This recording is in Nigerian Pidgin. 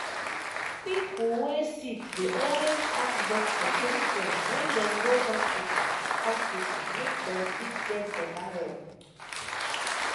pipo wey sick dey always ask doctor question wen dem go hospital hospital make dem fit get better help.